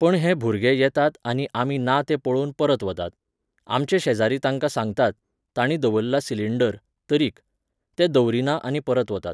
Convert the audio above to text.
पण हे भुरगे येतात आनी आमी ना तें पळोवन परत वतात. आमचे शेजारी तांकां सांगतात, तांणी दवरला सिंलिडर, तरीक. ते दवरिना आनी परत वतात.